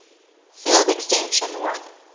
field extension l